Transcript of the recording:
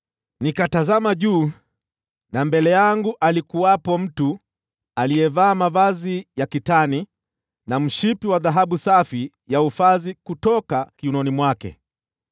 nikatazama juu, na mbele yangu alikuwepo mtu aliyevaa mavazi ya kitani na mshipi wa dhahabu safi kutoka ufazi kiunoni mwake.